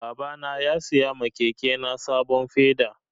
Baba na ya saya ma keke na sabon feda